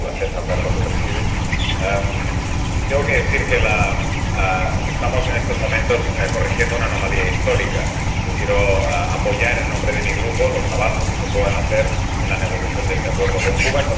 Siempre es un placer hablar cuando presides. Tengo que decir que estamos, en estos momentos, corrigiendo una anomalía histórica. Yo quiero apoyar, en nombre de mi Grupo, los avances que se puedan hacer en la negociación de este acuerdo con Cuba.